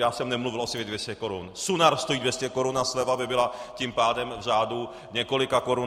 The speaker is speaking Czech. Já jsem nemluvil o slevě 200 korun, Sunar stojí 200 korun a sleva by byla tím pádem v řádu několika korun.